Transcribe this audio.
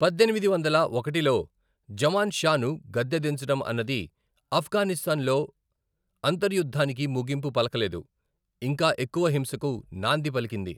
పద్దెనిమిది వందల ఒకటిలో జమాన్ షాను గద్దె దించడం అన్నది ఆఫ్ఘనిస్తాన్లో అంతర్యుద్ధానికి ముగింపు పలకలేదు, ఇంకా ఎక్కువ హింసకు నాంది పలికింది.